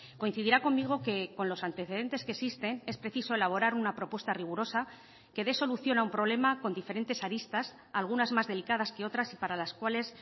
coincidirá conmigo que con los antecedentes que existen es preciso elaborar una propuesta rigurosa que de solución a un problema con diferentes aristas algunas más delicadas que otras y para las cuales